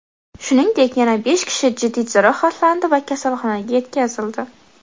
Shuningdek, yana besh kishi jiddiy jarohatlandi va kasalxonaga yetkazildi.